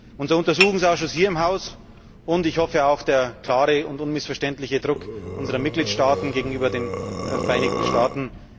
Unser Untersuchungsausschuss hier im Haus, und ich hoffe, auch der klare und unmissverständliche Druck unserer Mitgliedstaaten gegenüber den Vereinigten Staaten.